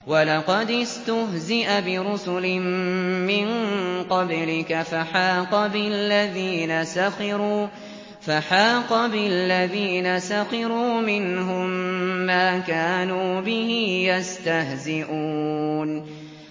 وَلَقَدِ اسْتُهْزِئَ بِرُسُلٍ مِّن قَبْلِكَ فَحَاقَ بِالَّذِينَ سَخِرُوا مِنْهُم مَّا كَانُوا بِهِ يَسْتَهْزِئُونَ